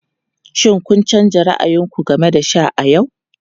Shin kun canza ra'ayin ku game da sha a yau?